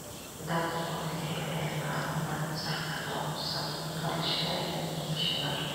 Dadku waxay helayaan macluumaad sax ah oo ku saabsan dhalashada iyo dhimashada.